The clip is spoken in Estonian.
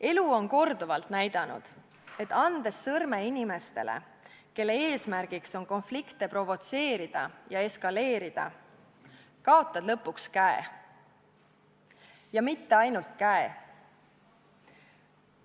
Elu on korduvalt näidanud, et andes sõrme inimesele, kelle eesmärgiks on konflikte provotseerida ja neid eskaleerida, kaotad lõpuks käe – ja mitte ainult käe.